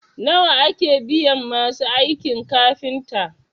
nawa ake biyan masu aikin kafinta?